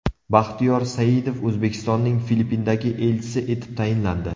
Baxtiyor Saidov O‘zbekistonning Filippindagi elchisi etib tayinlandi.